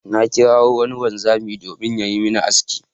Na kirawo wani wanzami domin yayi min aski.